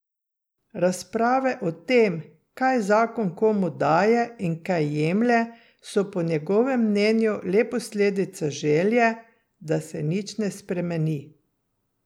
Razprave o tem, kaj zakon komu daje in kaj jemlje, so po njegovem mnenju le posledica želje, da se nič ne spremeni.